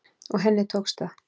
Og henni tókst það.